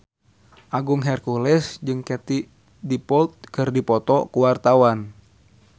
Agung Hercules jeung Katie Dippold keur dipoto ku wartawan